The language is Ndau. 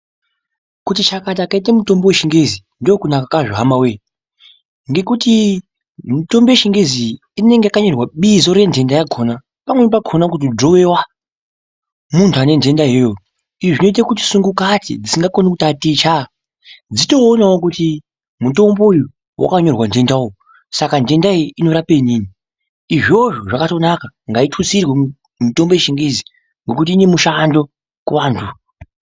Kuti chakata kwaite mitombo yechingezi ndokunaka kwazvo hamawoye ngekuti mitombo yechingezi iyi inenge yakanyorwa bizo renhenda yakona pamweni pakona kutonyorwa muntu anenhenda iyoyo izvi zvinoite kuti sungukati dzisingakoni kutaticha dzitoonawo kuti mutombo uyu wakanyora nhenda uyu, saka nhenda iyi inorape inini ,izvozvo zvakatonaka ngaitutsirwe mitombo yechingezi nekuti inemushando kuvanhu ava.